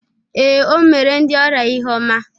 Ee, o mere ndị ọrịa ihe ọma